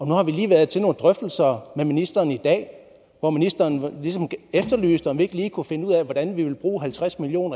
nu har vi lige været til nogle drøftelser med ministeren i dag hvor ministeren ligesom efterlyste om vi ikke lige kunne finde ud af hvordan vi ville bruge halvtreds million